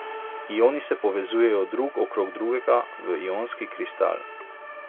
Ioni se povezujejo drug okrog drugega v ionski kristal.